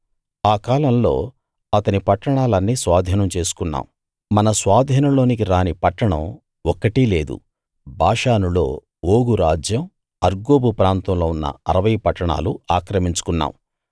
ఆ కాలంలో అతని పట్టణాలన్నీ స్వాధీనం చేసుకున్నాం మన స్వాధీనంలోకి రాని పట్టణం ఒక్కటీ లేదు బాషానులో ఓగు రాజ్యం అర్గోబు ప్రాంతంలో ఉన్న 60 పట్టణాలు ఆక్రమించుకున్నాం